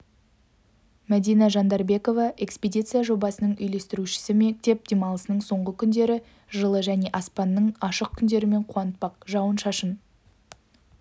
мәдина жандарбекова экспедиция жобасының үйлестірушісі мектеп демалысының соңғы күндері жылы және аспанның ашық күндерімен қуантпақ жауын-шашын